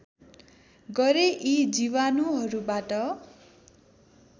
गरे यी जीवाणुहरूबाट